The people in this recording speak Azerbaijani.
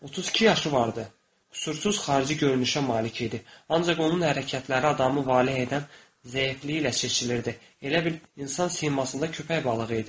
32 yaşı vardı, qüsursuz xarici görünüşə malik idi, ancaq onun hərəkətləri adamı valeh edən zəifliyi ilə seçilirdi, elə bil insan simasında köpək balığı idi.